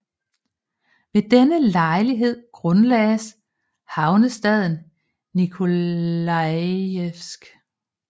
Ved denne lejlighed grundlagdes havnestaden Nikolajevsk